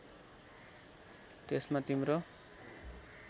त्यसमा तिम्रो